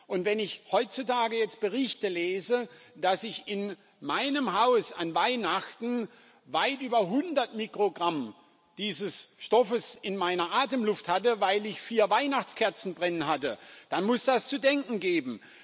Und wenn ich heutzutage jetzt Berichte lese, dass ich in meinem Haus an Weihnachten weit über 100 Mikrogramm dieses Stoffes in meiner Atemluft hatte, weil ich vier Weihnachtskerzen brennen hatte, dann muss das zu denken geben.